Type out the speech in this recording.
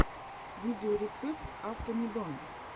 видеорецепт автомедон